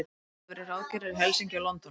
Þeir höfðu verið ráðgerðir í Helsinki og London.